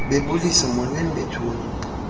bebulisa molweni bethuna